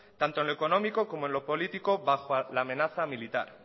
tanto en lo económico como en lo político bajo la amenaza militar